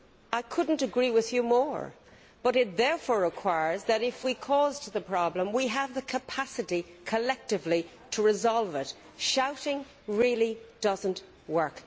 I could not agree with you more, but it therefore requires that if we caused the problem we have the capacity, collectively, to resolve it. Shouting really does not work